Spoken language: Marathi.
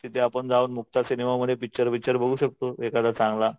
तिथे जाऊन आपण मुक्ता सिनेमामध्ये पिक्चर बिक्चर बघू शकतो एखादा सिनेमा चांगला.